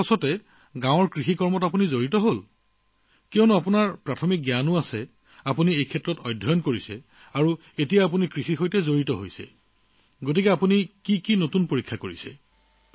আৰু তাৰ পিছত তেওঁ গাঁৱত খেতিৰ কাম হাতত লৈছিলা নহয়নে কাৰণ আপোনাৰ মৌলিক জ্ঞান আছে এই বিষয়ত আপোনাৰ পঢ়াশুনা হৈছে আৰু এতিয়া আপুনি খেতিৰ লগত জড়িত এতিয়া কি নতুন পৰীক্ষা কৰিলে